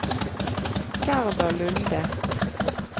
Gerda Lunde